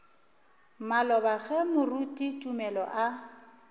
maloba ge moruti tumelo a